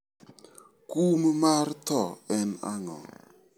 Kum mar tho en ang'o?